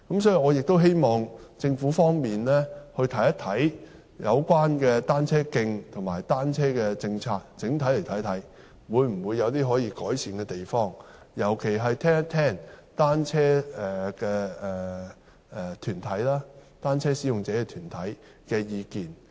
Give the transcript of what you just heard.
所以，我希望政府整體審視有關單車徑及單車的政策有否可以改善的地方，尤其聆聽單車使用者團體的意見。